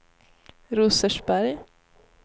Rosersberg